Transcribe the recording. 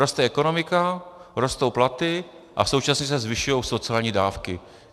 Roste ekonomika, rostou platy a současně se zvyšují sociální dávky.